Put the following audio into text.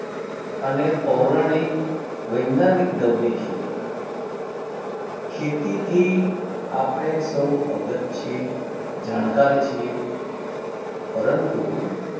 અને પૌરાણિક વૈજ્ઞાનિક દર ની ખેતી ખેતી થી અપને સૌવ અગત છીએ જાણકાર છીએ પરંતુ